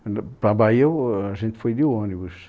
Para a Bahia eu, a gente foi de ônibus.